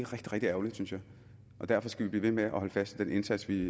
rigtig ærgerligt synes jeg og derfor skal vi ved med at holde fast i den indsats vi